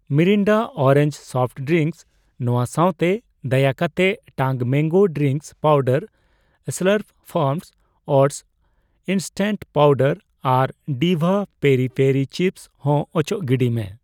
Mirinda orange soft drinks ᱱᱚᱣᱟ ᱥᱟᱣᱛᱮ, ᱫᱟᱭᱟᱠᱟᱛᱮ Tang mango drink powder, Slurrp Farm oats instant powder ᱟᱨ ᱰᱤᱵᱷᱟ ᱯᱮᱨᱤ ᱯᱮᱨᱤ ᱪᱤᱯᱥ ᱦᱚᱸ ᱚᱪᱚᱜ ᱜᱤᱰᱤᱭ ᱢᱮ ᱾